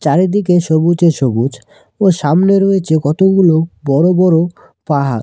চারিদিকে সবুজে সবুজ ও সামনে রয়েছে কতগুলো বড়ো বড়ো পাহাড়।